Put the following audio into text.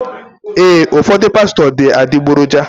Ee, ụfọdụ pastọ bụ adịgboroja.